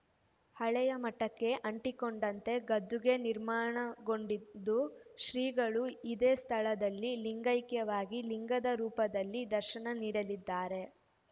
ಹಳೆಯ ಮಠಕ್ಕೆ ಅಂಟಿಕೊಂಡಂತೆ ಗದ್ದುಗೆ ನಿರ್ಮಾಣಗೊಂಡಿದ್ದು ಶ್ರೀಗಳು ಇದೇ ಸ್ಥಳದಲ್ಲಿ ಲಿಂಗೈಕ್ಯವಾಗಿ ಲಿಂಗದ ರೂಪದಲ್ಲಿ ದರ್ಶನ ನೀಡಲಿದ್ದಾರೆ